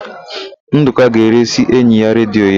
Ndụka ga-eresị enyi ya redio ya.